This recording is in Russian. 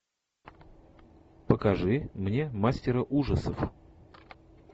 покажи мне мастера ужасов